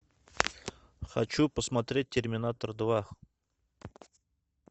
хочу посмотреть терминатор два